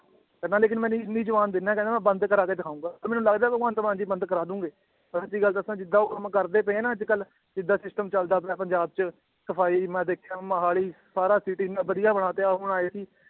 ਕਹਿੰਦਾ ਲੇਕਿੰਨ ਮੈਂ ਇੰਨੀ ਜੁਬਾਨ ਦਿਨਾ ਕਹਿੰਦਾ ਮੈਂ ਬੰਦ ਕਰਵਾ ਕੇ ਦਿਖਾਊਂਗਾ ਤੇ ਮੈਨੂੰ ਲੱਗਦਾ ਭਗਵੰਤ ਮਾਨ ਜੀ ਬੰਦ ਕਰਵਾ ਦੇਣਗੇ, ਮੈਂ ਸੱਚੀ ਗੱਲ ਦੱਸਾਂ ਜਿੱਦਾਂ ਉਹ ਕੰਮ ਕਰਦੇ ਪਏ ਹੈ ਨਾ ਅੱਜ ਕੱਲ੍ਹ ਜਿੱਦਾਂ system ਚੱਲਦਾ ਆਪਣੇ ਪੰਜਾਬ ਚ, ਸਫ਼ਾਈ ਮੈਂ ਦੇਖਿਆ ਮੋਹਾਲੀ ਸਾਰਾ city ਇੰਨਾ ਵਧੀਆ ਬਣਾ ਤੇ